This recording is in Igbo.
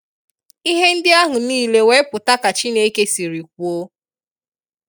Ihe ndị ahụ nile wee pụta ka Chineke siri kwuo.